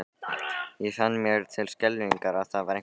Ég fann mér til skelfingar að það var eitthvað að.